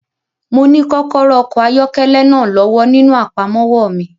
Mo ní kọ́kọ́rọ́ okọ̀ ayọ́kẹ́lẹ́ náà lọ́wọ́ nínú àpamọ́wọ́ mi.